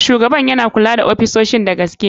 Shugaban yana kula da ofisoshin da gaske.